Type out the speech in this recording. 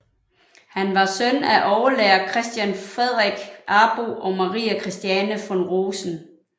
Han var søn af overlærer Christian Fredrik Arbo og Marie Christiane von Rosen